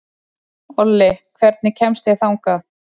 Olli, hvernig kemst ég þangað?